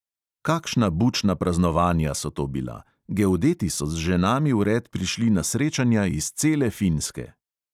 Kakšna bučna praznovanja so to bila, geodeti so z ženami vred prišli na srečanja iz cele finske.